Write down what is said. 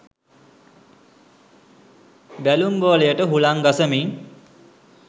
බැලුම් බෝලයට හුළං ගසමින්